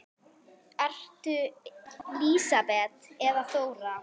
Ertu Lísibet eða Þóra?